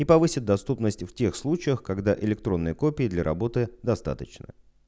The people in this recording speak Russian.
и повысит доступность в тех случаях когда электронные копии для работы достаточно